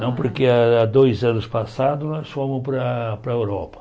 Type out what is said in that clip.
Não, porque há dois anos passados nós fomos para para a Europa.